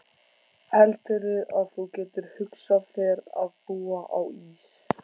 Heldurðu að þú getir hugsað þér að búa á Ís